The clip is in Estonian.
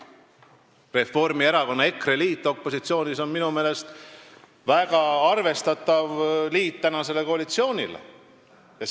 Reformierakonna ja EKRE liit opositsioonis on minu meelest väga arvestatav liit praeguse koalitsiooni kõrval.